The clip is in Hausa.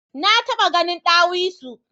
Na taba gahin dawisu.